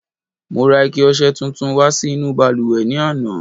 Mo ra ike ọṣẹ tuntun wá sí inú balùwẹ̀ ní àná.